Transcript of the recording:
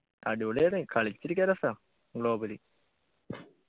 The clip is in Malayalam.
അടിപൊളിയാണ് കളിച്ചിരിക്കാൻ രസാ global